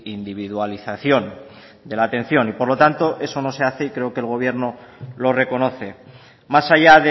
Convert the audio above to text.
individualización de la atención y por lo tanto eso no se hace y creo que el gobierno lo reconoce más allá